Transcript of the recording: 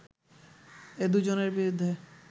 এ দু’জনের বিরুদ্ধে